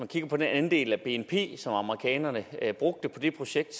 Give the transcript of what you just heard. kigger på den andel af bnp som amerikanerne brugte på det projekt